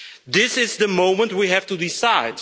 This is the moment we have to decide.